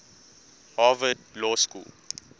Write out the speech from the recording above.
harvard law school